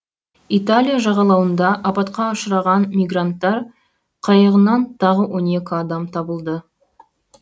италия жағалауында апатқа ұшыраған мигранттар қайығынан тағы он екі адам табылды